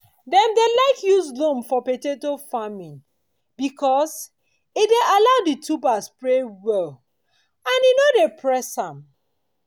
dem dey like use loam for potato farming because e allow di tuber dey spread well and e nor go dey press am.